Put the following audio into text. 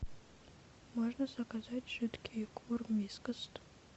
можно заказать жидкий корм вискас